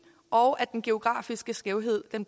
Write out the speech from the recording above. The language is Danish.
og at den geografiske skævhed